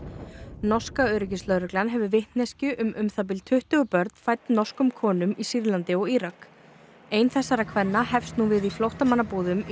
norska öryggislögreglan hefur vitneskju um um það bil tuttugu börn fædd norskum konum í Sýrlandi og Írak ein þessara kvenna hefst nú við í flóttamannabúðum í